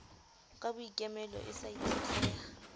ka boikemelo e sa itshetleha